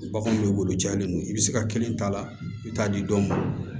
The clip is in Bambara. Bagan dɔ b'olu jalen non i bɛ se ka kelen t'a la i bɛ taa di dɔw ma